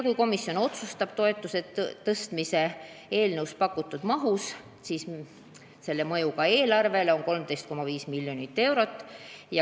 Kui komisjon otsustab toetuse tõstmise eelnõus pakutud mahus, siis on selle mõju eelarvele 13,5 miljonit eurot.